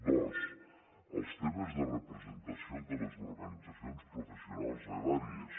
dos els temes de representació de les organitzacions professionals agràries